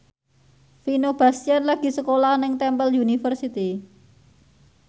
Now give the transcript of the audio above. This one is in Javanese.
Vino Bastian lagi sekolah nang Temple University